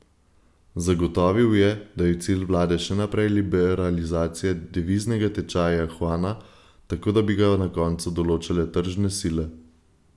Zagotovil je, da je cilj vlade še naprej liberalizacija deviznega tečaja juana, tako da bi ga na koncu določale tržne sile.